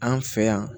An fɛ yan